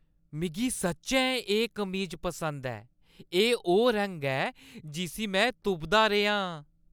मिगी सच्चैं एह् कमीज पसंद ऐ। एह् ओह् रंग ऐ जिस्सी में तुपदा रेहा आं।